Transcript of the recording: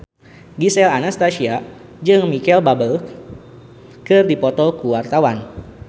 Gisel Anastasia jeung Micheal Bubble keur dipoto ku wartawan